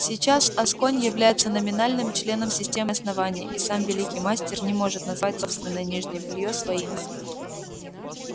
сейчас асконь является номинальным членом системы основания и сам великий мастер не может назвать собственное нижнее бельё своим